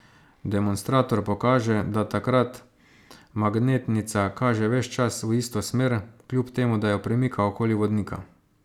Demonstrator pokaže, da takrat magnetnica kaže ves čas v isto smer, kljub temu da jo premika okoli vodnika.